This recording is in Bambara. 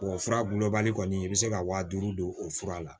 fura gulɔbali kɔni i bɛ se ka wa duuru don o fura la